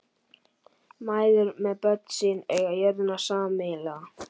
Mæður með börn sín eiga jörðina sameiginlega.